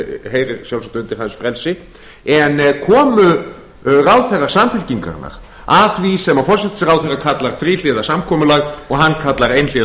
heyrir sjálfsagt undir hans frelsi en komu ráðherrar samfylkingarinnar að því sem forsætisráðherra kallar þríhliða samkomulag en hann kallar einhliða